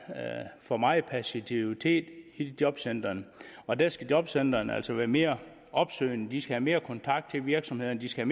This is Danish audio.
for meget passivitet i jobcentrene og der skal jobcentrene altså være mere opsøgende de skal have mere kontakt til virksomhederne de skal